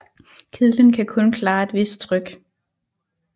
Kedlen kan kun klare et vist tryk